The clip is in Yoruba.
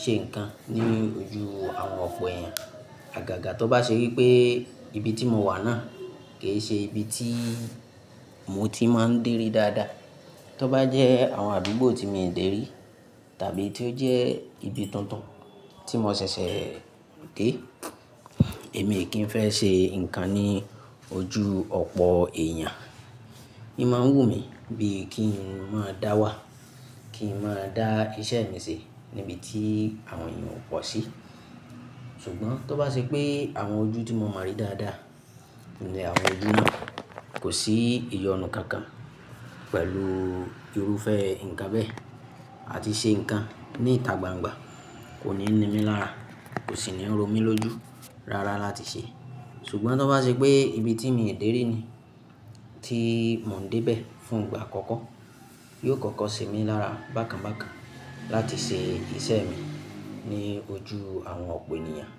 ṣe nǹkan ní ojú àwọn ọ̀pọ̀ èèyàn. Àgàgà tó bá ṣe wípé ibi tí mo wà náà kì í ṣe ibi tí mo ti máa ń dèrí dáadáa, tó bá jẹ́ àwọn àdúgbò tí mo ń dèrí tàbí tí ó jẹ́ ibi tuntun tí mo ṣẹ̀ṣẹ̀ dé, èmi kì í fẹ́ ṣe nǹkan ní ojú ọ̀pọ̀ èèyàn. Í máa ń wù mí bí kí n máa dá wà, kí n máa dá iṣẹ́ mi ṣe níbi tí àwọn èèyàn ò pọ̀ sí. Ṣùgbọ́n tó bá ṣe pé àwọn ojú tí mo mọ̀ dáadáa, ní àwọn ojú náà kò sí ìyọnu kankan pẹ̀lú irúfẹ́ ǹkan bẹ́ẹ̀ àti ṣe nǹkan ní ìta gbangba kò ní ní mí lára, kò sì ní rò mí lójú rárá láti ṣe. Ṣùgbọ́n tó bá ṣe pé ibi tí mì o dèrí ni tí mò ń dé bẹ̀ fún ìgbà àkọ́kọ́, yóò kọ́kọ́ sè mí lára bákan bákan láti ṣe iṣẹ́ mi ní ojú àwọn ọ̀pọ̀ ènìyàn.